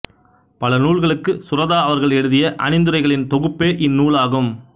பல நூல்களுக்கு சுரதா அவர்கள் எழுதிய அணிந்துரைகளின் தொகுப்பே இந்நூலாகும்